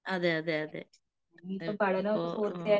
അതെയതെയതേ മ്മ് പോ മ്മ്